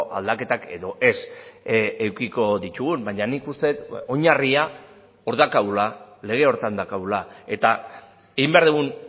aldaketak edo ez edukiko ditugun baina nik uste dut oinarria hor daukagula lege horretan daukagula eta egin behar dugun